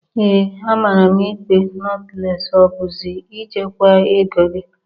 Ee, amara m ikpa notles o bụzi I jekwa ego gi.